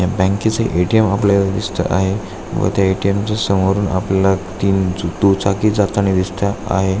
या बँकेच ए.टी.एम. आपल्याला दिसत आहे व त्या ए.टी.एम. च्या समोरून आपल्याला तीन दु चाकी जातानी दिसत आहे.